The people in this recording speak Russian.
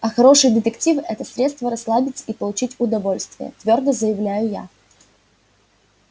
а хорошие детективы это средство расслабиться и получить удовольствие твёрдо заявляю я